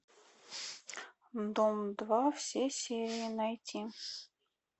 дом два все серии найти